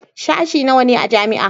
Sashen nawa ne a jami'a?